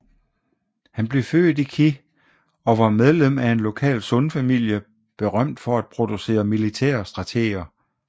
Han blev født i Qi og var medlem af en lokal Sun familie berømt for at producere militære strateger